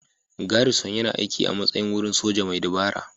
Garrison yana aiki a matsayin wurin soja mai dabara.